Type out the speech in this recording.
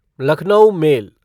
Lucknow mail